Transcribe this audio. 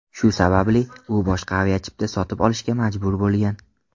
Shu sababli u boshqa aviachipta sotib olishga majbur bo‘lgan.